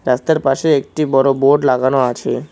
রাস্তার পাশে একটি বড় বোর্ড লাগানো আছে।